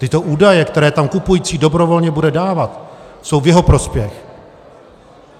Tyto údaje, které tam kupující dobrovolně bude dávat, jsou v jeho prospěch.